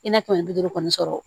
I n'a fɔ ni bi duuru kɔni sɔrɔ